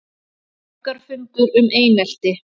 Borgarafundur um einelti